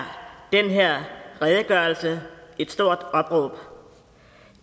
den her redegørelse et stort opråb